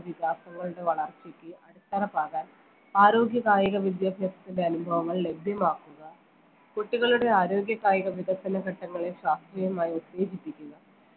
വികാസങ്ങളുടെ വളർച്ചക്ക് അടിത്തറ പാകാൻ ആരോഗ്യ കായിക വിദ്യാഭ്യാസത്തിന്റെ അനുഭവങ്ങൾ ലഭ്യമാക്കുക കുട്ടികളുടെ ആരോഗ്യ കായിക വികസന ഘട്ടങ്ങളെ ശാസ്ത്രീയമായി ഉത്തേജിപ്പിക്കുക